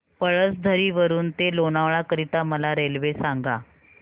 पळसधरी वरून ते लोणावळा करीता मला रेल्वे सांगा